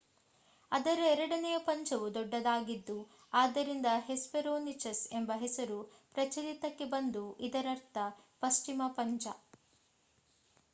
ಅದರ ಎರಡನೆಯ ಪಂಜವು ದೊಡ್ಡದಾಗಿದ್ದು ಆದ್ದರಿಂದ ಹೆಸ್ಪೆರೋನಿಚಸ್ ಎಂಬ ಹೆಸರು ಪ್ರಚಲಿತಕ್ಕೆ ಬಂತು ಇದರರ್ಥ ಪಶ್ಚಿಮ ಪಂಜ